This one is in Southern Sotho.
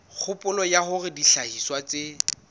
kgopolo ya hore dihlahiswa tse